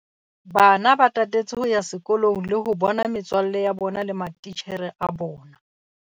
Bana ba tatetse ho kgutlela sekolong le ho bona metswalle ya bona le matitjhere a bona.